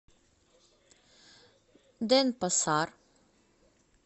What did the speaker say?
денпасар